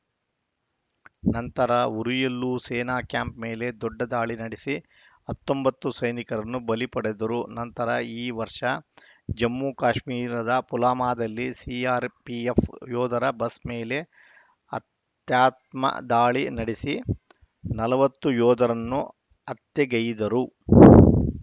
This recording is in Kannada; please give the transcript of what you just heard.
ನಂತರ ಉರಿಯಲ್ಲೂ ಸೇನಾ ಕ್ಯಾಂಪ್‌ ಮೇಲೆ ದೊಡ್ಡ ದಾಳಿ ನಡೆಸಿ ಹತ್ತೊಂಬತ್ತು ಸೈನಿಕರನ್ನು ಬಲಿ ಪಡೆದರು ನಂತರ ಈ ವರ್ಷ ಜಮ್ಮು ಕಾಶ್ಮೀರದ ಪುಲ್ವಾಮಾದಲ್ಲಿ ಸಿಆರ್‌ಪಿಎಫ್‌ ಯೋಧರ ಬಸ್‌ ಮೇಲೆ ಆತ್ಯಾತ್ಮ ದಾಳಿ ನಡೆಸಿ ನಲವತ್ತು ಯೋಧರನ್ನು ಹತ್ಯೆಗೈದರು